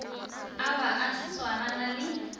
a ba a swarana le